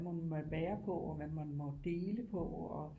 Må man være på og hvad må man dele på og